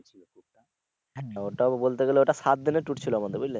হ্যা ওটা বলতে গেলে ওটা সাতদিনের tour ছিলো আমাদের বুঝলে?